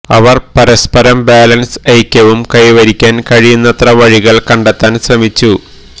അവർ പരസ്പരം ബാലൻസ് ഐക്യവും കൈവരിക്കാൻ കഴിയുന്നത്ര വഴികൾ കണ്ടെത്താൻ ശ്രമിച്ചു